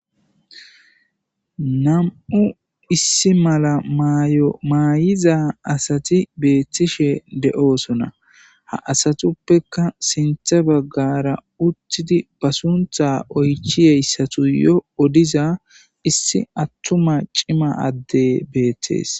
nam'u issi mala mayo maay7iza asati beettishe de7oosona ha asatuppeka sintha baggara uttidi ba suntha oychi yeyssatu yo odiza issi attuma cima adde beettees